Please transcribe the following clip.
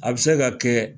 A bɛ se ka kɛ